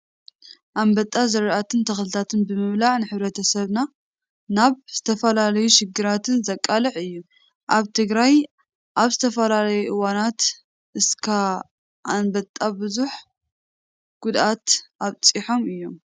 ኣንበጣ ዝራእትን ተክልታት ብምብላዕ ንሕብረተሰብ ናብ ዝተፈላለዩ ሽግራትን ዘቃልዕ እዩ። ኣብ ትግራይ ኣብ ዝተፈላለዩ እዋናት ኣሰኻ ኣንበጣ ብዙሕ ጉድኣታት ኣብፂሖም እዮም።